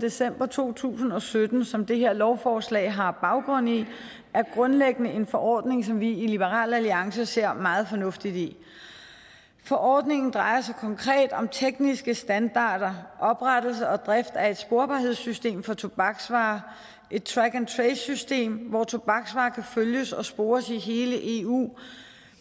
december to tusind og sytten som det her lovforslag har baggrund i er grundlæggende en forordning som vi i liberal alliance ser meget fornuftigt i forordningen drejer sig konkret om tekniske standarder oprettelse og drift af et sporbarhedssystem for tobaksvarer et track and trace system hvor tobaksvarer kan følges og spores i hele eu